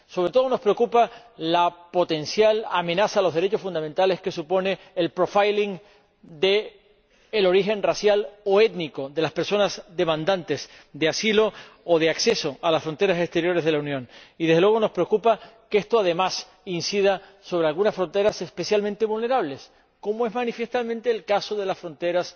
Sobre todo, nos preocupa la potencial amenaza a los derechos fundamentales que supone el profiling del origen racial o étnico de las personas demandantes de asilo o de acceso a las fronteras exteriores de la Unión y, desde luego, nos preocupa que esto, además, incida sobre algunas fronteras especialmente vulnerables, como es manifiestamente el caso de las fronteras